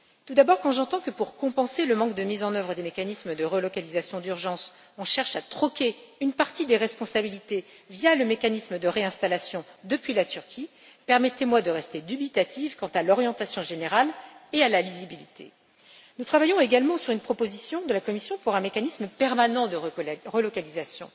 Tout d'abord, quand j'entends que, pour compenser le manque de mise en œuvre des mécanismes de relocalisation d'urgence, on cherche à troquer une partie des responsabilités via le mécanisme de réinstallation depuis la Turquie, je ne peux que rester dubitative quant à l'orientation générale et à la lisibilité. Par ailleurs, nous travaillons sur une proposition de la Commission concernant un mécanisme permanent de relocalisation.